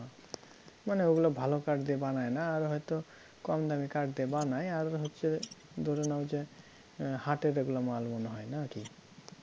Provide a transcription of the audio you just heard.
মানে ওগুলা ভালো কাঠ দিয়ে বানায় না আর হয়ত কমদামি কাঠ দিয়ে বানায় আর হচ্ছে ধরে নাও যে হাটে যেগুলো মালগুলো হয় না কি?